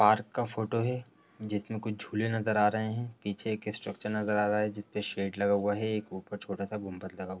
park का photo है जिसमे कुछ झूले नजर आ रहे हैं | पीछे एक स्ट्रक्चर नजर आ रहा है जिस पे शेड लगा हुआ है एक ऊपर छोटा सा गुम्बद लगा --